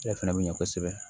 Ale fana bɛ ɲɛ kosɛbɛ